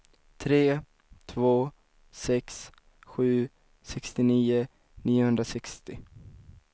tre två sex sju sextionio niohundrasextio